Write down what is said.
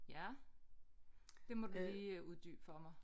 Ja det må du lige uddybe for mig